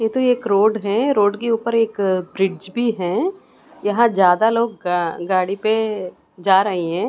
यह तो एक रोड है रोड के ऊपर एक ब्रिज भी है यहां ज्यादा लोग गा गाड़ी पे जा रहे हैं।